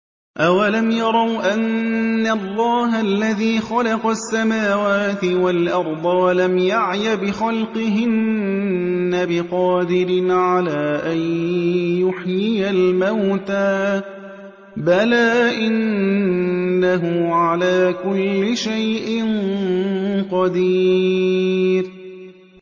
أَوَلَمْ يَرَوْا أَنَّ اللَّهَ الَّذِي خَلَقَ السَّمَاوَاتِ وَالْأَرْضَ وَلَمْ يَعْيَ بِخَلْقِهِنَّ بِقَادِرٍ عَلَىٰ أَن يُحْيِيَ الْمَوْتَىٰ ۚ بَلَىٰ إِنَّهُ عَلَىٰ كُلِّ شَيْءٍ قَدِيرٌ